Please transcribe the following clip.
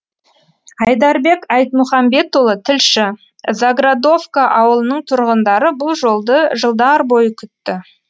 айдарбек айтмұхамбетұлы тілші заградовка ауылының тұрғындары бұл жолды жылдар бойы күтті